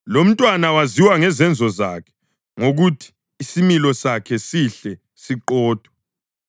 Lomntwana waziwa ngezenzo zakhe, ngokuthi isimilo sakhe sihle, siqotho.